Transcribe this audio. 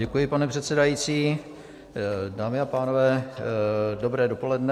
Děkuji, pane předsedající. Dámy a pánové, dobré dopoledne.